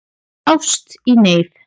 Ást í neyð